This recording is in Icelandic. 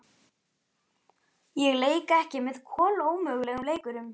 Ég leik ekki með kolómögulegum leikurum